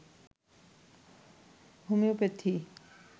homeopathy